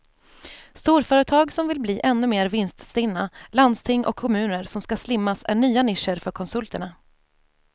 Storföretag som vill bli ännu mer vinststinna, landsting och kommuner som ska slimmas är nya nischer för konsulterna.